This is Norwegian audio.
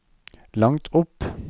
langt opp